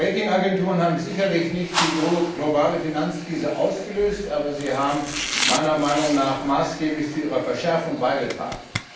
Die Rating Agenturen haben sicherlich nicht die globale Finanzkrise ausgelöst, aber sie haben meiner Meinung nach maßgeblich zu ihrer Verschärfung beigetragen.